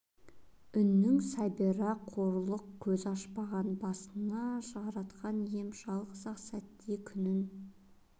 үннің сәбира қорлық көз ашпаған басына жаратқан ием жалғыз-ақ сәтте күнін